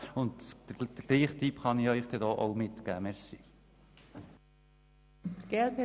Den gleichen Tipp kann ich Ihnen heute auch geben.